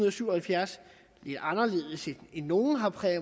og syv og halvfjerds anderledes end nogle